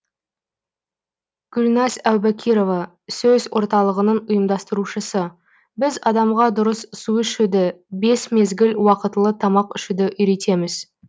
гүлназ әубакирова сөс орталығының ұйымдастырушысы біз адамға дұрыс су ішуді бес мезгіл уақытылы тамақ ішуді үйретеміз